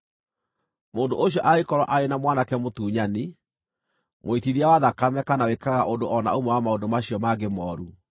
“Mũndũ ũcio angĩkorwo arĩ na mwanake mũtunyani, mũitithia wa thakame kana wĩkaga ũndũ o na ũmwe wa maũndũ macio mangĩ mooru